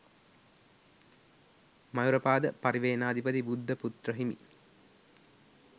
මයුරපාද පරිවෙණාධිපති බුද්ධපුත්‍රහිමි